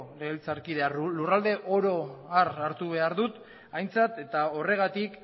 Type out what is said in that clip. legebiltzarkidea lurraldea oro har hartu behar dut aintzat eta horregatik